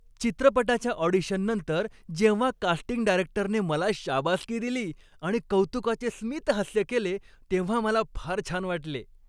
चित्रपटाच्या ऑडिशननंतर जेव्हा कास्टिंग डायरेक्टरने मला शाबासकी दिली आणि कौतुकाचे स्मितहास्य केले तेव्हा मला फार छान वाटले.